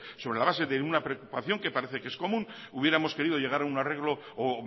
sobre la base de una preocupación que parece que es común hubiéramos querido llegar a un arreglo o